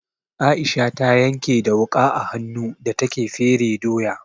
Aisha ta yanke da wuƙa a hannu da take fere doya.